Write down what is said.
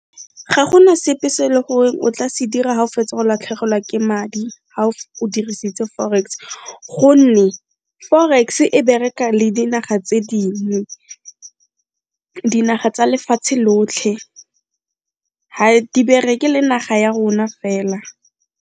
Ga gona sepe se e le gore o tla se dira ga o fetsa go latlhegelwa ke madi ga o dirisitse forex gonne forex e bereka le dinaga tse ding, dinaga tsa lefatshe lotlhe ga di bereke le naga ya rona fela.